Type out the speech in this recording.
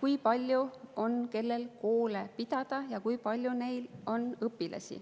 kui palju on kellelgi koole pidada ja kui palju on neis õpilasi.